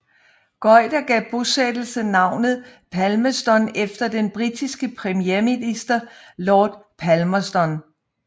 Goyder gav bosættelsen navnet Palmerston efter den britiske premierminister Lord Palmerston